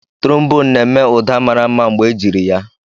Trombone na-eme ụda mara mma mgbe ejiri ya